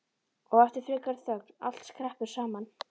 Og eftir frekari þögn: Allt skreppur saman